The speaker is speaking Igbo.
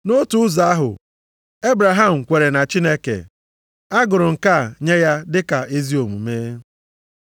Nʼotu ụzọ ahụ, Ebraham kweere na Chineke, a gụrụ nke a nye ya dị ka ezi omume. + 3:6 \+xt Jen 15:6\+xt*